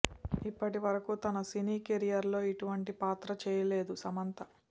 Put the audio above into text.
ఇప్పటివరకు తన సినీ కెరీర్ లో ఇటువంటి పాత్ర చేయలేదు సమంత